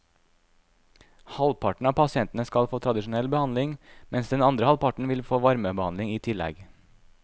Halvparten av pasientene skal få tradisjonell behandling, mens den andre halvparten vil få varmebehandling i tillegg.